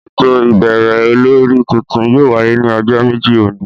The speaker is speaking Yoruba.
Éto ibẹrẹ ólòri tuntun yóò wàye ni ọjọ meji oni.